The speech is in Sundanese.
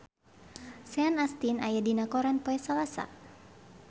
Sean Astin aya dina koran poe Salasa